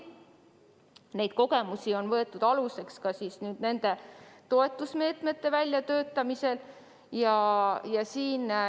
Tollaseid kogemusi on võetud aluseks ka praeguste toetusmeetmete väljatöötamisel.